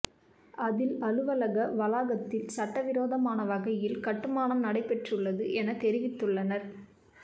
அதில் அலுவலக வளாகத்தில் சட்டவிரோதமான வகையில் கட்டுமானம் நடைபெற்றுள்ளது என தெரிவித்துள்ளனர்